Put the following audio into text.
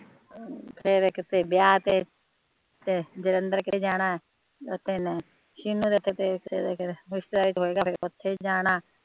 ਫਿਰ ਇਹ ਕਿਸੇ ਵਿਆਹ ਤੇ ਤੇ ਜਲੰਧਰ ਜਾਣਾ ਉੱਥੇ ਇਹਨੇ